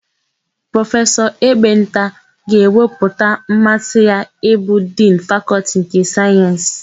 Prọfesọ Ebenta ga-ekwupụta mmasị ya ịbụ Dinu Fakọltị nke Sayensị.